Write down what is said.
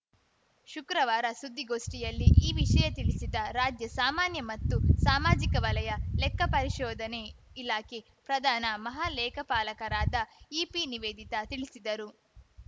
ಶುಕ್ರವಾರ ಸುದ್ದಿಗೋಷ್ಠಿಯಲ್ಲಿ ಈ ವಿಷಯ ತಿಳಿಸಿದ ರಾಜ್ಯ ಸಾಮಾನ್ಯ ಮತ್ತು ಸಾಮಾಜಿಕ ವಲಯ ಲೆಕ್ಕಪರಿಶೋಧನೆ ಇಲಾಖೆ ಪ್ರಧಾನ ಮಹಾಲೇಖಪಾಲರಾದ ಇಪಿ ನಿವೇದಿತಾ ತಿಳಿಸಿದರು